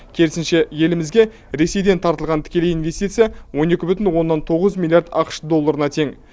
керісінше елімізге ресейден тартылған тікелей инвестиция он екі бүтін оннан тоғыз миллиард ақш долларына тең